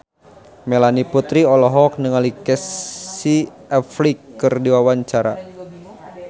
Melanie Putri olohok ningali Casey Affleck keur diwawancara